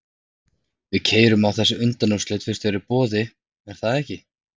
Við keyrum á þessi undanúrslit fyrst þau eru í boði, er það ekki?